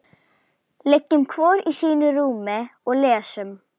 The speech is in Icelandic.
Liggjum hvor í sínu rúmi og lesum.